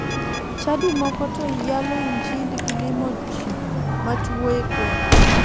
Chadi moko to yalo injili gi limo ji matuo e gwenge.